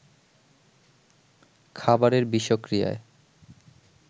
খাবারের বিষক্রিয়ায়